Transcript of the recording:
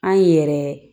An yɛrɛ